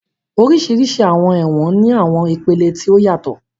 Oríṣiríṣi àwọn ẹ̀wọ̀n ní àwọn ìpele tí ó yàtọ̀